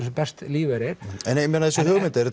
sem bestan lífeyri en þessi hugmynd er